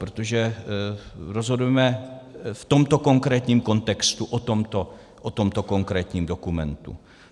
Protože rozhodujeme v tomto konkrétním kontextu o tomto konkrétním dokumentu.